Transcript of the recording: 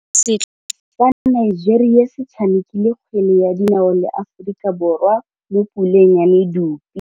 Setlhopha sa Nigeria se tshamekile kgwele ya dinaô le Aforika Borwa mo puleng ya medupe.